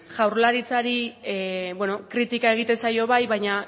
jaurlaritzari kritika egiten zaio bai baina